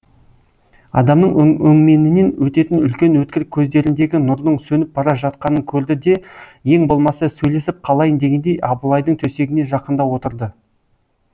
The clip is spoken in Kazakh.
адамның өңменінен өтетін үлкен өткір көздеріндегі нұрдың сөніп бара жатқанын көрді де ең болмаса сөйлесіп қалайын дегендей абылайдың төсегіне жақындау отырды